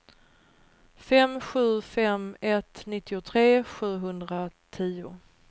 fem sju fem ett nittiotre sjuhundratio